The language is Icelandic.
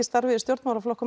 starfsemi stjórnmálaflokka